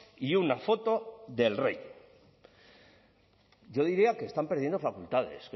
y una foto del rey yo diría que están perdiendo facultades